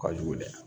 Ka jugu dɛ